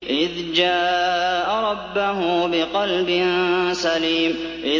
إِذْ جَاءَ رَبَّهُ بِقَلْبٍ سَلِيمٍ